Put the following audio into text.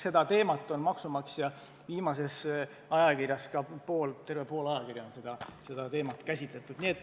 Seda teemat on käsitletud viimases ajakirja MaksuMaksja numbris, nii et tervelt pool numbrist on sellele pühendatud.